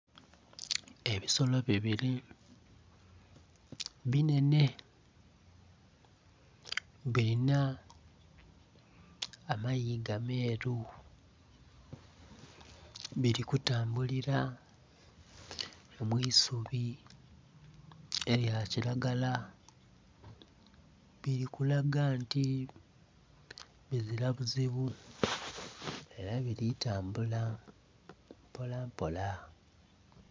Ebisolo bibili binhenhe bilina amayiga meeru bili kutambulila mu isubi elya kilagala, bili kulaga nti bizila buzibu ela bili tambula